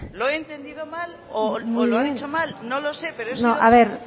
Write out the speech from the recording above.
lo he entendido mal o lo han hecho mal no lo sé pero he sido sí puede ser